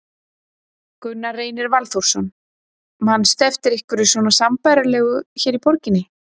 Gunnar Reynir Valþórsson: Manstu eftir einhverju svona sambærilegu hér í borginni?